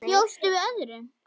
Bjóstu við öðru?